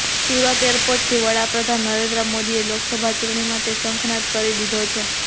સુરત એરપોર્ટથી વડાપ્રધાન નરેન્દ્ર મોદીએ લોકસભા ચૂંટણી માટે શંખનાદ કરી દીધો છે